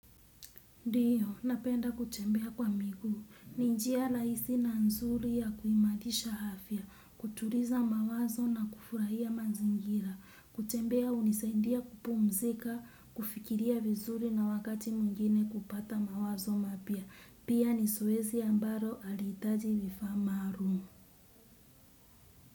Ndio, napenda kutembea kwa miguu, ni njia rahisi na nzuri ya kuimarisha afya, kutuliza mawazo na kufurahia mazingira, kutembea hunisaindia kupumzika, kufikiria vizuri na wakati mwingine kupata mawazo mapya, pia ni zoezi ambalo halihitaji vifaa maalum.